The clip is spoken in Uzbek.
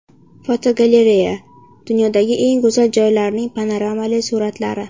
Fotogalereya: Dunyodagi eng go‘zal joylarning panoramali suratlari.